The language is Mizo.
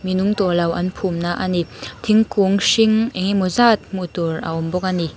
mi nung tawhlo an phumna ani thingkung hring engemaw zat hmuhtur a awmbawk ani.